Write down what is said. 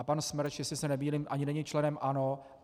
A pan Smrž, jestli se nemýlím, ani není členem ANO.